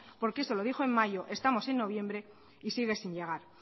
porque eso lo dijo en mayo estamos en noviembre y sigue sin llegar